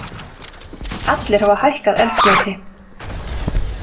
Allir hafa hækkað eldsneyti